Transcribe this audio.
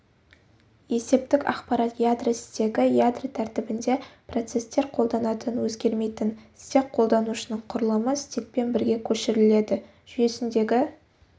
есептік ақпарат ядро стегі ядро тәртібінде процестер қолданатын өзгермейтін стек қолданушының құрылымы стекпен бірге көшіріледі жүйесіндегі